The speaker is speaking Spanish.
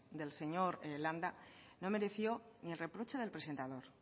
del señor landa no mereció ni el reproche del presentador